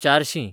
चारशीं